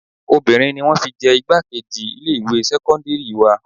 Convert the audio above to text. Obìnrin ni wọn fi jẹ igbákejì ilé ìwé sẹ́kọ́ńdírì wa.